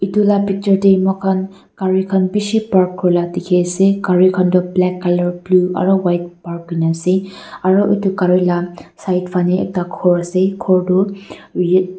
itu la picture tae mokhan gari khan bishi park kurila dikhiase gari khan toh black colour blue aro white pra kurina ase aro edu gari la side fanae khor ase edu khor.